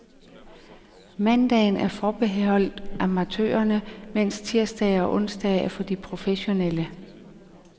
Mandagen er forbeholdt amatørerne, mens tirsdage og onsdage er for de professionelle.